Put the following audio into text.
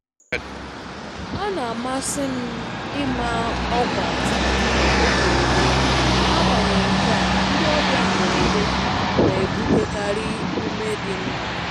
Ọ na-amasị m ịma ọkwa tupu oge eruo, n'agbanyeghị nkea ndị ọbịa mberede na-ebutekarị ume dị mma.